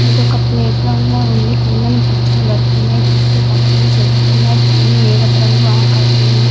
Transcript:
ఇదొక playground లాగా ఉంది కిందన పచ్చని గడ్డి ఉంది. చుట్టూ పచ్చని చెట్లు ఉన్నాయ్ పైన నీలపు రంగు ఆకాశం ఉంది.